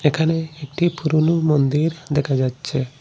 এখানে একটি পুরোনো মন্দির দেখা যাচ্ছে।